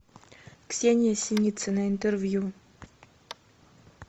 ксения синицина интервью